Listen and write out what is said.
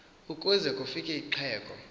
ukuze kufik uxhego